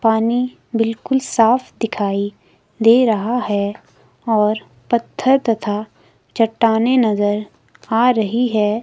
पानी बिल्कुल साफ दिखाई दे रहा है और पत्थर तथा चट्टानें नजर आ रही है।